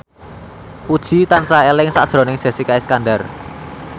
Puji tansah eling sakjroning Jessica Iskandar